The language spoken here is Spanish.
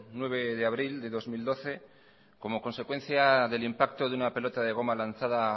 nueve de abril de dos mil doce como consecuencia del impacto de una pelota de goma lanzada